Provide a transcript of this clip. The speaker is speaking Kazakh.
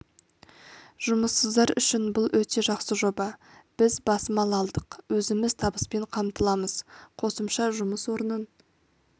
жұмыссыздар үшін бұл өте жақсы жоба біз бас мал алдық өзіміз табыспен қамтыламыз қосымша жұмыс орнын